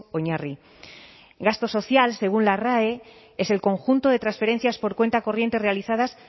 oinarri gasto social según la rae es el conjunto de transferencias por cuenta corriente realizadas